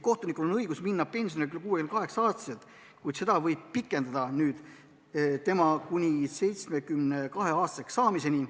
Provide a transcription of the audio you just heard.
Kohtunikul on õigus minna pensionile 68-aastaselt, kuid seda võib pikendada nüüd kuni tema 72-aastaseks saamiseni.